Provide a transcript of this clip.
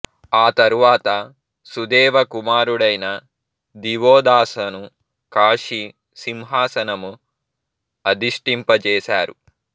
ఆ తరువాత సుదేవ కుమారుడైన దివోదాసను కాశీ సింహాసనం అధిష్టింపజేసారు